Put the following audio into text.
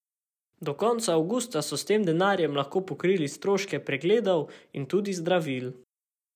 Do konca avgusta so s tem denarjem lahko pokrili stroške pregledov in tudi zdravil.